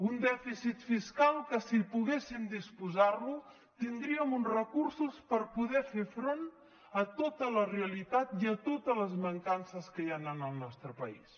un dèficit fiscal que si poguéssim disposar ne tindríem uns recursos per poder fer front a tota la realitat i a totes les mancances que hi han en el nostre país